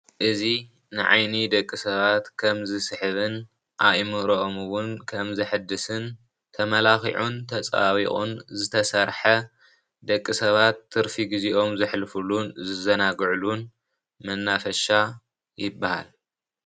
እዚ ንዓይኒ ደቂ ሰባት ከም ዝስሕብን ኣኢምሮኦም እውን ከምዝሕድስን ተመላኺዑን ተፀባቢቑን ዝተሰርሐ ደቂ ሰባት ትርፊ ግዚኦም ዘሕልፍሉን ዝዘናግዕሉን መናፈሻ ይባሃል።